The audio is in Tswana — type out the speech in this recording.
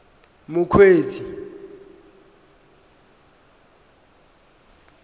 mokgweetsi